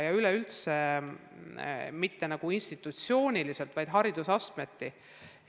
Ja üleüldse mitte nagu institutsiooniliselt, vaid haridusastmeti.